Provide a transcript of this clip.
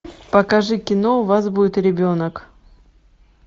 покажи кино у вас будет ребенок